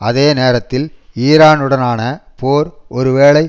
அதே நேரத்தில் ஈரானுடனான போர் ஒரு வேளை